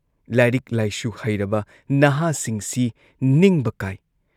ꯂꯥꯏꯔꯤꯛ ꯂꯥꯏꯁꯨ ꯍꯩꯔꯕ ꯅꯍꯥꯁꯤꯡꯁꯤ ꯅꯤꯡꯕ ꯀꯥꯏ ꯫